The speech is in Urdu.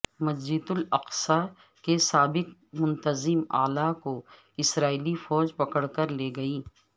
مسجد الاقصی کے سابق منتظم اعلی کو اسرائیلی فوج پکڑ کر لے گئی